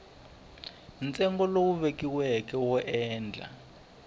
ntsengo lowu vekiweke wo endla